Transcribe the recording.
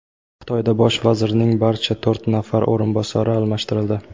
Xitoyda bosh vazirning barcha to‘rt nafar o‘rinbosari almashtirildi.